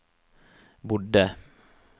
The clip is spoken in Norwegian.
bodde